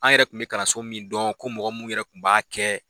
An yɛrɛ tun bɛ kalanso min dɔn ko mɔgɔ minnu yɛrɛ tun b'a kɛ